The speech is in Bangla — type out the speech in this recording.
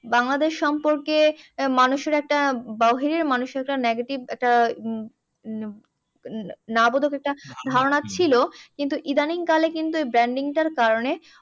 বাংলাদেশ সম্পর্কে মানুষের একটা বাহিরের মানুষের একটা negative একটা একটা ধারণা ছিল। কিন্তু ইদানিং কালে কিন্তু branding টার কারণে